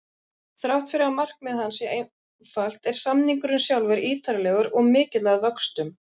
Þrátt fyrir að markmið hans sé einfalt er samningurinn sjálfur ítarlegur og mikill að vöxtum.